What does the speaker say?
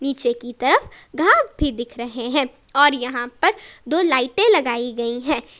पीछे की तरफ घास भी दिख रहे हैं और यहां पर दो लाइटे लगाई गई है।